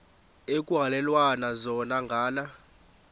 ekuhhalelwana zona ngala